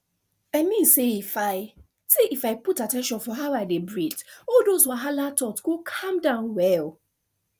i mean say if i say if i put at ten tion for how i dey breathe all those wahala thoughts go calm down well